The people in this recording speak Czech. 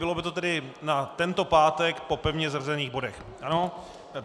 Bylo by to tedy na tento pátek po pevně zařazených bodech, ano?